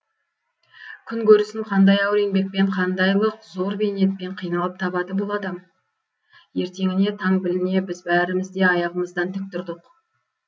күн көрісін қандай ауыр еңбекпен қандайлық зор бейнетпен қиналып табады бұл адам ертеңіне таң біліне біз бәріміз де аяғымыздан тік тұрдық